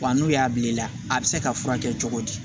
Wa n'u y'a bil'i la a bɛ se ka furakɛ cogo di